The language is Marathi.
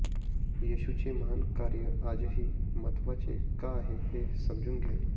येशूचे महान कार्य आजही महत्त्वाचे का आहे हे समजून घ्या